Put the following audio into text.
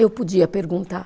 Eu podia perguntar.